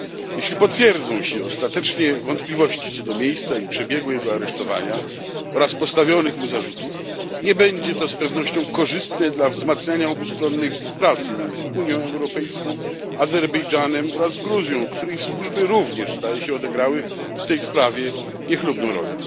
Jeśli potwierdzą się ostatecznie wątpliwości co do miejsca i przebiegu jego aresztowania oraz postawionych mu zarzutów, nie będzie to z pewnością korzystne dla wzmacniania obustronnej współpracy między Unią Europejską, Azerbejdżanem oraz Gruzją, której służby również, zdaje się, odegrały w tej sprawie niechlubną rolę.